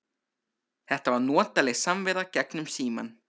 Þetta var notaleg samvera gegnum símann.